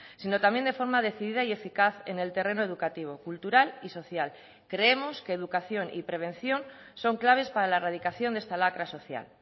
sino también de forma decidida y eficaz en el terreno educativo cultural y social creemos que educación y prevención son claves para la erradicación de esta lacra social